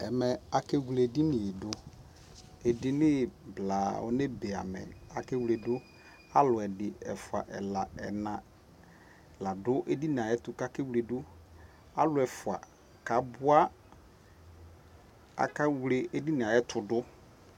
Ɛmɛ aka wle ɛdini yɛ duƐdini blaa ɔnɛ be yɛ maAkɛ wledu Alu ɛdi, ɛfua, ɛla, ɛna la du ɛdini tu ka kɛ wle duAlu ɛfua ka bua akɛ wle ɛdini yɛ tu du